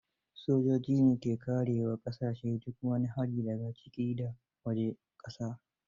Sojoji ne ke kare wa ƙasashe duk wani hari da ga ciki da wajen ƙasar.